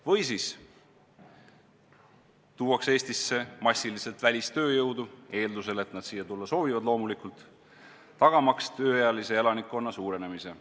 Või siis tuuakse Eestisse massiliselt välistööjõudu – eeldusel, et nad siia tulla soovivad, loomulikult –, tagamaks tööealise elanikkonna suurenemise.